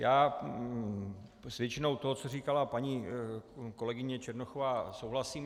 Já s většinou toho, co říkala paní kolegyně Černochová, souhlasím.